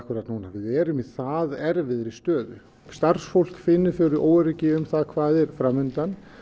við erum í það erfiðri stöðu starfsfólk finnur óöryggi um það hvað er fram undan